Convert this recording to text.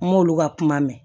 N k'olu ka kuma mɛn